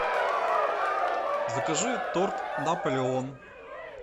закажи торт наполеон